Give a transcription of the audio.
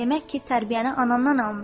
Demək ki, tərbiyəni anandan almısan?